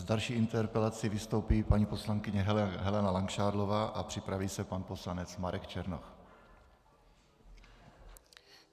S další interpelací vystoupí paní poslankyně Helena Langšádlová a připraví se pan poslanec Marek Černoch.